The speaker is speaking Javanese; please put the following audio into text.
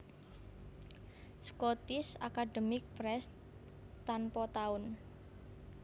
Scottish Academic Press Tanpa tahun